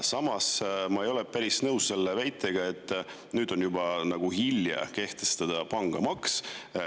Samas ei ole ma päris nõus selle väitega, et nüüd on juba hilja pangamaksu kehtestada.